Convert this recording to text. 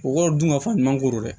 U k'o dun ka fɔ ɲuman ko don dɛ